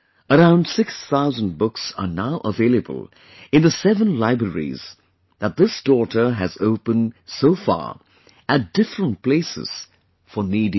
Around 6 thousand books are now available in the seven libraries that this daughter has opened so far at different places for needy children